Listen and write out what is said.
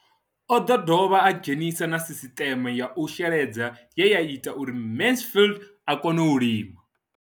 O ḓo dovha a dzhenisa na sisiṱeme ya u sheledza ye ya ita uri Mansfied a kone u lima.